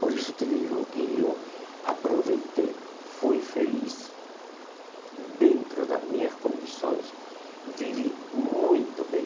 Por isso te digo que eu aproveitei, fui feliz dentro das minhas condições, vivi muito bem.